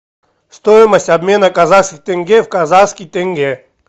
стоимость обмена казахских тенге в казахский тенге